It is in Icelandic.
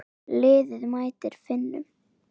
Liðið mætir Finnum.